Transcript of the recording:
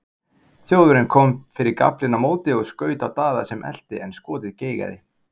Þjóðverjinn kom fyrir gaflinn á móti og skaut á Daða sem elti en skotið geigaði.